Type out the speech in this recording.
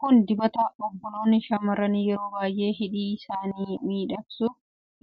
Kun dibata obboloonni shamarranii yeroo baayyee hidhii isaanii miidhagsuuf